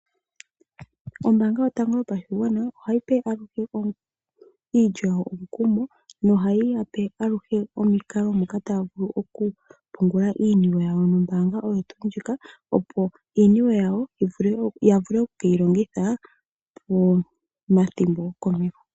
Ombaanga yotango yopashigwana ohayi tsu aluhe iilyo yawo omukumo, nohayi ya pe aluhe omikalo moka taya vulu okupungula iiniwe yawo nombaanga ndjika, opo iiniwe yawo ya vule okukeyi longitha pomathimbo go komeho.